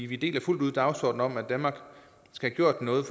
vi deler fuldt ud dagsordenen om at danmark skal gøre noget